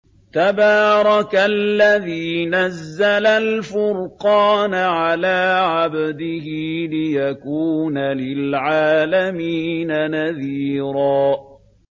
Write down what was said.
تَبَارَكَ الَّذِي نَزَّلَ الْفُرْقَانَ عَلَىٰ عَبْدِهِ لِيَكُونَ لِلْعَالَمِينَ نَذِيرًا